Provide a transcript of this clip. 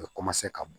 U bɛ ka bo